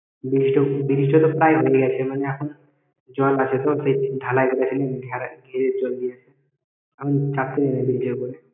Bridge টা bridge টা তো প্রায় ভেঙে গেছে মানে এখন জল আছে তো তাই ঢালাই ঘিরে চলছে আমি রাখছিলাম video করে